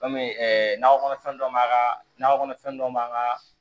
Kɔmi nakɔ kɔnɔfɛn dɔ b'an ka nakɔ kɔnɔfɛn dɔ m'an ka